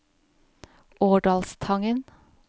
Årdalstangen